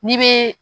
N'i be